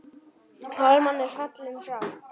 Hallmar er fallinn frá.